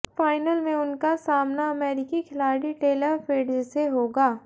final में उनका सामना अमेरिकी खिलाड़ी टेलर फ्रिट्ज से होगा